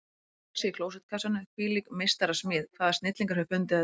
Innvolsið í klósettkassanum, hvílík meistarasmíð, hvaða snillingur hefur fundið þetta upp?